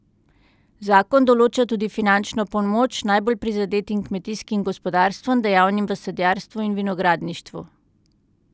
Zakon določa tudi finančno pomoč najbolj prizadetim kmetijskim gospodarstvom, dejavnim v sadjarstvu in vinogradništvu.